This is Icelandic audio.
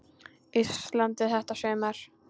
Íslandi þetta sumar.